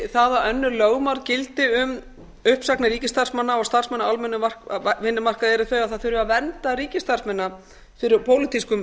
það að önnur lögmál gildi um uppsagnir ríkisstarfsmanna og starfsmanna á almennum vinnumarkaði eru þau að það þurfi að vernda ríkisstarfsmennina fyrir pólitískum